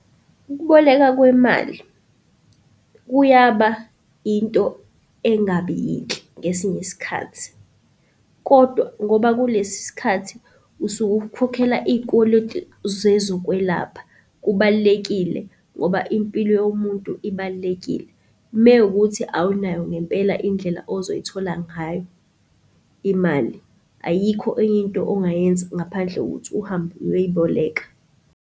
Ukuboleka kwemali kuyaba into engabi yinhle ngesinye isikhathi kodwa ngoba kulesi sikhathi usuke ukhokhela iy'koloti zezokwelapha kubalulekile ngoba impilo yomuntu ibalulekile. Mewukuthi awunayo ngempela indlela ozoyithola ngayo imali, ayikho enye into ongayenza ngaphandle kokuthi uhambe uyoyiboleka.